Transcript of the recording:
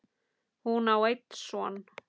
Hún á einn son.